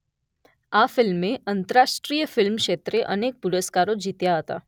આ ફિલ્મે આંતરાષ્ટ્રીય ફિલ્મ ક્ષેત્રે અનેક પુરસ્કારો જીત્યા હતા.